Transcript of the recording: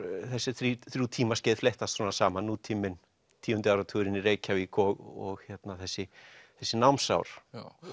þessi þrjú þrjú tímaskeið fléttast saman nútíminn tíundi áratugurinn í Reykjavík og þessi þessi námsár